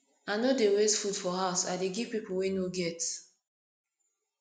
i no dey waste food for house i dey give pipo wey no get